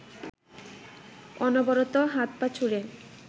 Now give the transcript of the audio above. অনবরত হাত-পা ছুড়ে